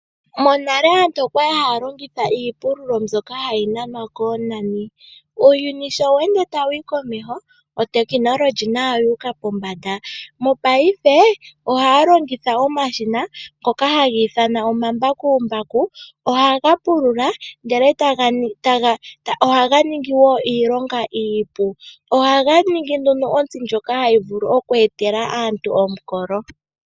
Monale aantu okwali haya longitha iipululo mbyoka hayi nanwa koonani . Uuyuni sho we ende tawuyi komeho, otekinolohi nayo oyu uka pombanda mopaife ohaya longitha omashina ngoka haga ithanwa omambakumbaku ohaga pulula go ohaga ningi woo iilonga iipu. Ohaga ningi ontsi ndjoka hayi vulu oku etela aantu omukolo.